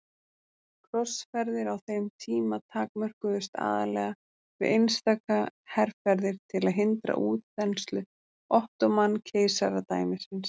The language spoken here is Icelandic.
Krossferðir á þeim tíma takmörkuðust aðallega við einstaka herferðir til að hindra útþenslu Ottóman-keisaradæmisins.